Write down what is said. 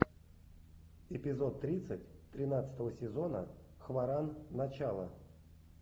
эпизод тридцать тринадцатого сезона хваран начало